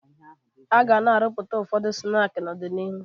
A ga-arụpụta ụfọdụ snaakị n'ọdịnihu